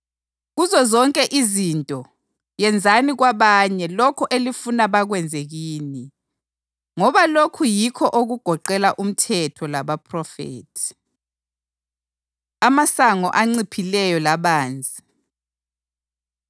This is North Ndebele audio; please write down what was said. Kuzozonke izinto, yenzani kwabanye lokho elifuna bakwenze kini, ngoba lokhu yikho okugoqela uMthetho labaPhrofethi.” Amasango Anciphileyo Labanzi